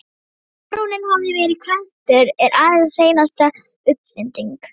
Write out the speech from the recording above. Að baróninn hafi verið kvæntur er aðeins hreinasta uppfinding.